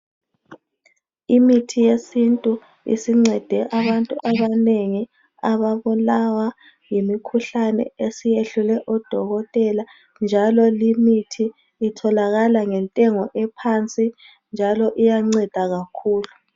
Imithi yesintu isincede abantu abanengi ababulawa yimikhuhlane esiyehlule odokotela njalo limithi itholakala ngentengo ephansi njalo iyanceda kakhulu.